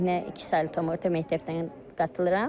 Təhnə iki saylı tam orta məktəbdən qatılıram.